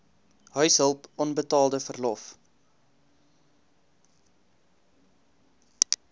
huishulp onbetaalde verlof